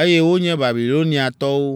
eye wonye Babiloniatɔwo.